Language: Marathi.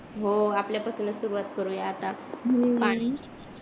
हो आपल्या पासूनच सुरुवात करू या आता हम्म पाणी